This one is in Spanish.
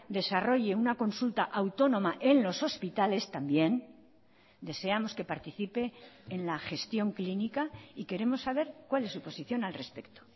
desarrolle una consulta autónoma en los hospitales también deseamos que participe en la gestión clínica y queremos saber cuál es su posición al respecto